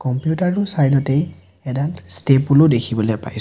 Computer টোৰ side তেই এডাল ষ্টেপুল দেখিবলৈ পাইছোঁ।